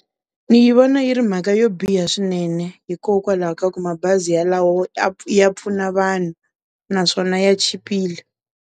Ni yi vona yi ri mhaka yo biha swinene hikokwalaho ka ku mabazi yalawo ya pfuna vanhu naswona ya chipile.